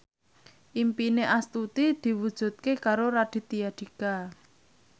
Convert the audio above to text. impine Astuti diwujudke karo Raditya Dika